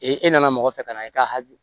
e nana mɔgɔ fɛ ka na i ka hakili